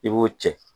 I b'o cɛ